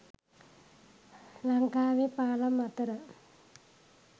ලංකාවේ පාලම් අතර